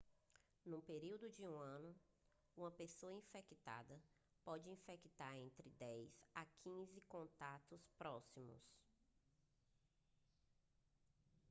no período de um ano uma pessoa infectada pode infectar entre 10 e 15 contatos próximos